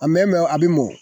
A mɛ mɛ a be mɔ